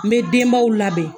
N bɛ denbaw labɛn